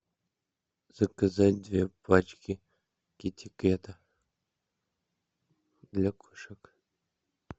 заказать две пачки китикета для кошек